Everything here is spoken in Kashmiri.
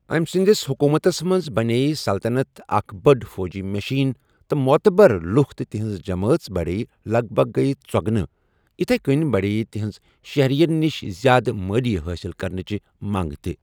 أمہِ سٕنٛدِس حُکوٗمَتس منٛز بَنییہِ سلطَنت اَکھ بٔڑ فوجی مِشیٖن تہٕ معتبر لُکھ تہٕ تِہِنٛزٕ جمٲعژ بَڑییہِ لگ بگ گٔیہٕ ژۄگنہٕ، یِتھیہ کٔنہِ بڈییہ تِہنز شہرِین نِش زیادٕ مٲلییہ حٲصِل كرنٕچہِ منٛگ تہِ۔